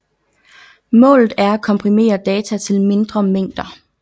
Målet er at komprimere data til mindre mængder